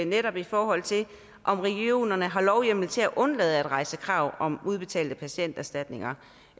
netop i forhold til om regionerne har lovhjemmel til at undlade at rejse krav om at udbetalte patienterstatninger